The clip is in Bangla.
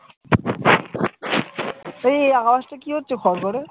তা এই আওয়াজটা কি হচ্ছে খরখরে?